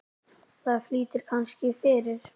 Það flýtir kannski fyrir.